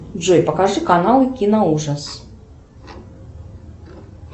джой покажи каналы киноужас